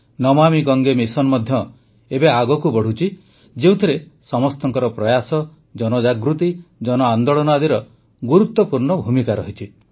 Namami Gange mission ମଧ୍ୟ ଏବେ ଆଗକୁ ବଢ଼ୁଛି ଯେଉଁଥିରେ ସମସ୍ତଙ୍କର ପ୍ରୟାସ ଜନଜାଗୃତି ଜନ ଆନ୍ଦୋଳନ ଆଦିର ଗୁରୁତ୍ୱପୂର୍ଣ୍ଣ ଭୂମିକା ରହିଛି